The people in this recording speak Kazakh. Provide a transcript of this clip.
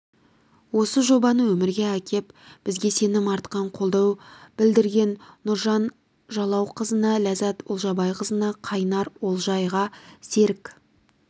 осы жобаны өмірге әкеп бізге сенім артқан қолдау білдірген нұржан жалауқызына ләззат олжабайқызына қайнар олжайға серік